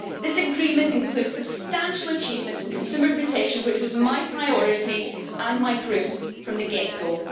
This agreement includes substantial achievements in consumer protection, which was my priority and my group's from the get go.